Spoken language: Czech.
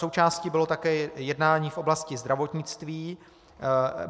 Součástí bylo také jednání v oblasti zdravotnictví.